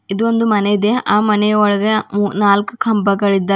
ಇದು ಒಂದು ಮನೆ ಇದೆ ಆ ಮನೆಯ ಒಳಗೆ ಮೂ ನಾಲ್ಕ ಕಂಬಗಳಿದ್ದಾವೆ.